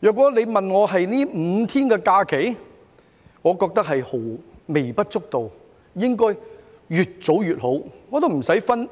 如果你問我關於這5天假期，我認為是微不足道，應該越早實行越好，無須